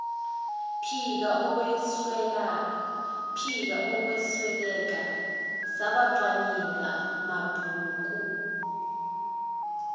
phiko ukwesweleka sabacwaningimabhuku